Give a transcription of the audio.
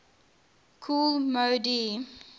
kool moe dee